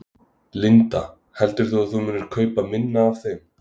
Linda: Heldur þú að þú munir kaupa minna af þeim?